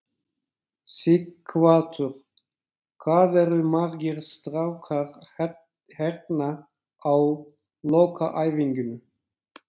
Sighvatur: Hvað eru margir strákar hérna á lokaæfingunni?